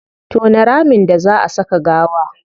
Tona ramin da zaa a saka gawa